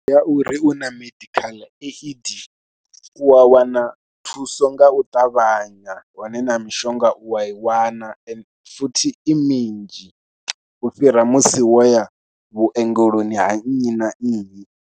Ndi ya uri u na medical aid u a wana thuso nga u ṱavhanya hone na mishonga u a i wana ende futhi i minzhi u fhira musi wo ya vhuongeloni ha nnyi na nnyi.